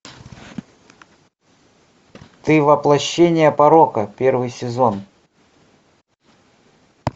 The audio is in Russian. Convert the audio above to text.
ты воплощение порока первый сезон